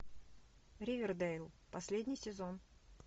ривердейл последний сезон